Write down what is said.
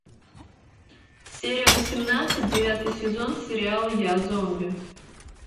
серия восемнадцать девятый сезон сериал я зомби